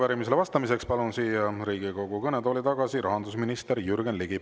Arupärimisele vastamiseks palun siia Riigikogu kõnetooli tagasi rahandusminister Jürgen Ligi.